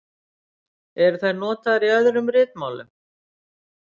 Eru þær notaðar í öðrum ritmálum?